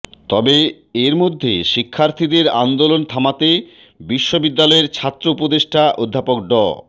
তবে এর মধ্যে শিক্ষার্থীদের আন্দোলন থামাতে বিশ্ববিদ্যালয়ের ছাত্র উপদেষ্টা অধ্যাপক ড